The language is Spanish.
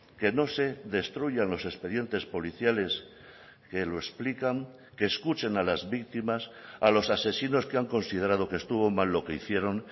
que no se destruyan los expedientes policiales que lo explican que escuchen a las víctimas a los asesinos que han considerado que estuvo mal lo que hicieron